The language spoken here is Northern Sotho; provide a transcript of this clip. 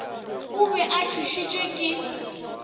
o be a tšhošitšwe ke